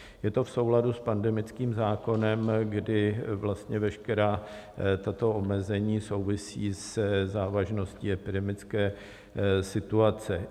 Je to v souladu s pandemickým zákonem, kdy vlastně veškerá tato omezení souvisí se závažností epidemické situace.